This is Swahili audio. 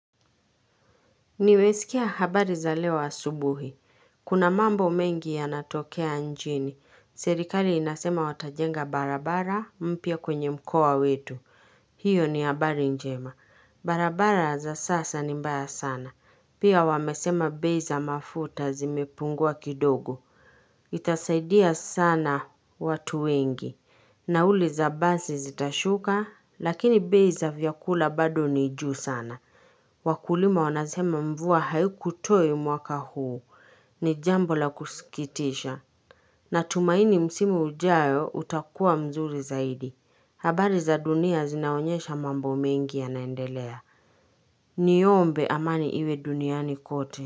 Nimesikia habari za leo asubuhi. Kuna mambo mengi yanatokea nchini. Serikali inasema watajenga barabara mpya kwenye mkowa wetu. Hiyo ni habari njema. Barabara za sasa ni mbaya sana. Pia wamesema bei za mafuta zimepungua kidogo. Itasaidia sana watu wengi. Nauli za basi zitashuka, lakini bei za vyakula bado ni juu sana. Wakulima wanasema mvua hayu kutoe mwaka huu ni jambo la kusikitisha na tumaini msimu ujao utakua mzuri zaidi habari za dunia zinaonyesha mambo mingi yanaendelea Niombe amani iwe duniani kote.